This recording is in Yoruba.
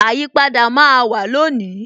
Àyípadà máa wà lónìí